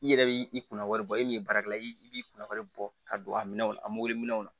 I yɛrɛ bi i kunna wari bɔ e min ye baarakɛla ye i b'i kunna wari bɔ ka don a minɛ o la a mori minɛnw na